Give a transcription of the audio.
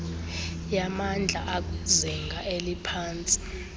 yamandla akwizinga eliphantsi